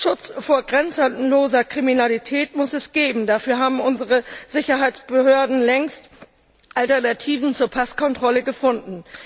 Schutz vor grenzenloser Kriminalität muss es geben, dafür haben unsere Sicherheitsbehörden längst Alternativen zur Passkontrolle gefunden.